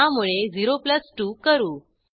त्यामुळे 02 करू